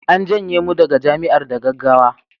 an janye mu daga Jami'ar da gaggawa